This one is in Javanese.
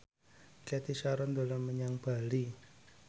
Cathy Sharon dolan menyang Bali